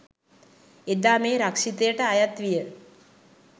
එදා මේ රක්ෂිතයට අයත් විය